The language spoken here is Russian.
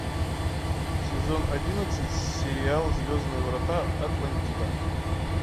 сезон одиннадцать сериал звездные врата атлантида